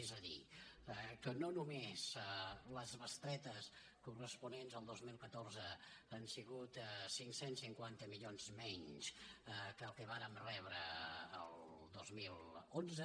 és a dir que no només les bestretes corresponents al dos mil catorze han sigut cinc cents i cinquanta milions menys que el que vàrem rebre el dos mil onze